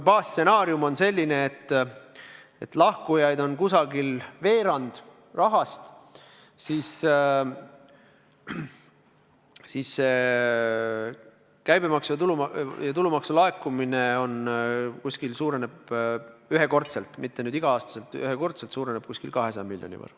Baasstsenaarium on selline, et lahkujate tõttu kaob umbes veerand rahast ja tulumaksu laekumine suureneb ühekordselt, mitte iga-aastaselt, umbes 200 miljoni võrra.